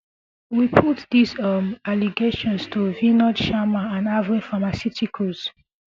we put dis um allegations to vinod sharma and aveo pharmaceuticals